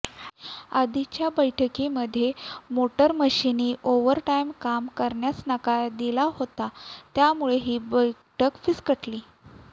आधीच्या बैठकीमध्ये मोटरमन्सनी ओव्हरटाइम काम करण्यास नकार दिला होता त्यामुळे ही बैठक फिस्कटली